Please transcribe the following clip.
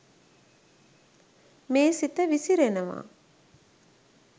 මේ සිත විසිරෙනවා.